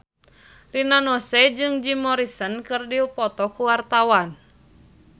Rina Nose jeung Jim Morrison keur dipoto ku wartawan